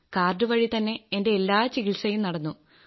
card വഴി തന്നെ എന്റെ എല്ലാ ചികിത്സയും നടന്നു